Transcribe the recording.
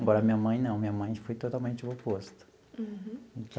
Embora minha mãe não, minha mãe foi totalmente o oposto. Uhum.